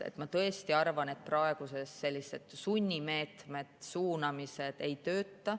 Ma tõesti arvan, et praegu sellised sunnimeetmed ja suunamised ei tööta.